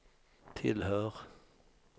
tillhör